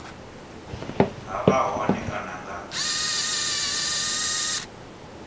ha vha hone kana nga